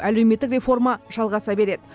әлеуметтік реформа жалғаса береді